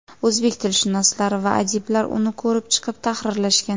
O‘zbek tilshunoslari va adiblar uni ko‘rib chiqib, tahrirlashgan.